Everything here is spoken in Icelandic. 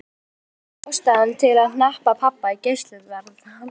Því þótti ástæða til að hneppa pabba í gæsluvarðhald.